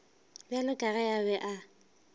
bjalo ka ge a be